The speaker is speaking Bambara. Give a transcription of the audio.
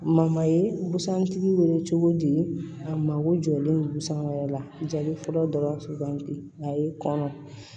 ye bantigi wele cogo di a mago jɔlen don busan wɛrɛ la jabi fɔlɔ dɔrɔn a ye kɔnɔ